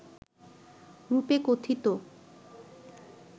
রূপে কথিত